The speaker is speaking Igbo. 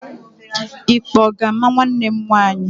Ikpe ọ ga-ama nwanne m nwaanyị?